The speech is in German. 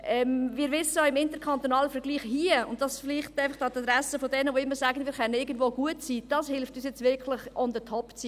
Wir wissen auch – das vielleicht an die Adresse derer, die immer sagen, wir könnten irgendwo gut sein –, das hier hilft uns wirklich, im interkantonalen Vergleich on top zu sein.